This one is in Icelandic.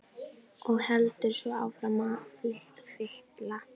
Og heldur svo áfram að fitla.